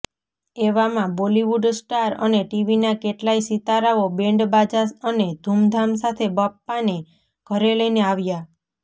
એવામાં બોલિવુડ સ્ટાર અને ટીવીના કેટલાય સિતારાઓ બેન્ડબાજા અને ધૂમધામ સાથે બાપ્પાને ઘરે લઈને આવ્યા